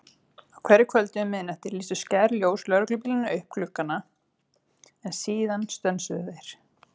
Á hverju kvöldi um miðnætti lýstu skær ljós lögreglubílanna upp gluggana, en síðan stönsuðu þeir.